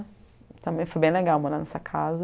Também foi bem legal morar nessa casa.